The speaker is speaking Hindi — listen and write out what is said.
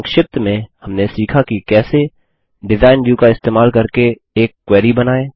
संक्षिप्त में हमने सीखा की कैसे डिजाइन व्यू का इस्तेमाल करके एक क्वेरी बनाएँ